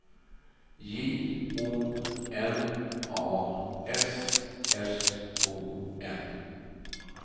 J O N A S S O N